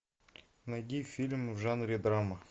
найди фильм в жанре драма